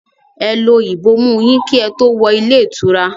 Ẹ lo ìbomú ú yín kí ẹ tó wọ ilé ìtura!